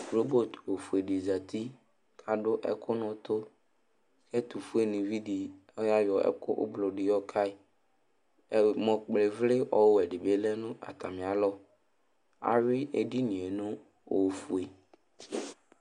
Robot ofue dɩ zati kʋ adʋ ɛkʋ nʋ ʋtʋ Ɛtʋfuenɩvi dɩ, ɔyayɔ ɛkʋ oblo dɩ yɔka yɩ Ɛmɔ kpɔ ɩvlɩ ɔwɛ dɩ lɛ nʋ atamɩalɔ Ayʋɩ edini yɛ nʋ ofue